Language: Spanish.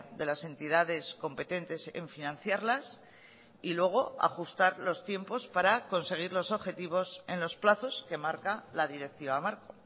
de las entidades competentes en financiarlas y luego ajustar los tiempos para conseguir los objetivos en los plazos que marca la directiva marco